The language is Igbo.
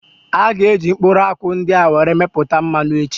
A gá eji mkpụrụ akwụ ndị a were mepụta mmanụ echi